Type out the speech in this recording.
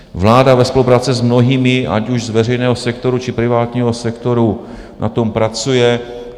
Vláda ve spolupráci s mnohými, ať už z veřejného sektoru, či privátního sektoru na tom pracuje.